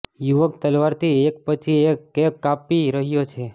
યુવક તલવારથી એક પછી એક કેપ કાપી રહ્યો છે